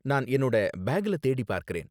நான் என்னோட பேக்ல தேடி பாக்கறேன்.